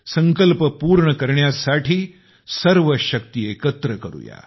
संकल्प पूर्ण करण्यासाठी सर्व शक्ती एकत्र करूया